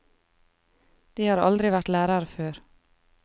De har aldri vært lærere før.